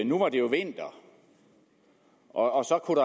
nu var det vinter og så kunne